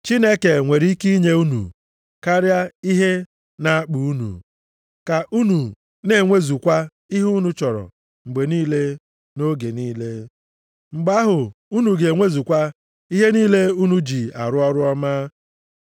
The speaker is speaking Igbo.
Chineke nwere ike inye unu karịa ihe na-akpa unu, ka unu na-enwezukwa ihe unu chọrọ mgbe niile nʼoge niile. Mgbe ahụ, unu ga-enwezukwa ihe niile unu ji arụ ọrụ ọma.